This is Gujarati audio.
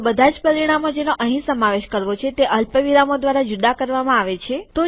તો બધાજ પરિમાણો જેનો અહીં સમાવેશ કરવો છે તે અલ્પવિરામો દ્વારા જુદા કરવામાં આવે છે